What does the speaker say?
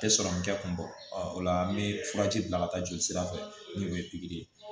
Tɛ sɔrɔ n tɛ kunbɛ o la an bɛ furaji bila ka taa joli sira fɛ n'o ye pikiri ye